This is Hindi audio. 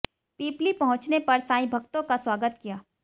पिपली पहुंचने पर सांईं भक्तों का स्वागत किया